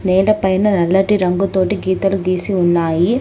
నేల పైన నల్లటి రంగు తోటి గీతాలు గీసి ఉన్నాయి.